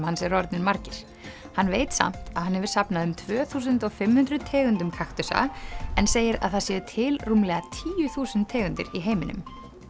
hans eru orðnir margir hann veit samt að hann hefur safnað um tvö þúsund og fimm hundruð tegundum en segir að það séu til rúmlega tíu þúsund tegundir í heiminum